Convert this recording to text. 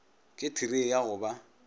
ke therei ya go ba